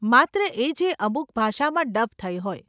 માત્ર એ જે અમુક ભાષામાં ડબ થઇ હોય.